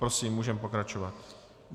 Prosím, můžeme pokračovat.